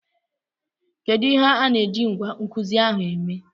Kedu ihe a na-eji ngwá nkuzi ahụ eme?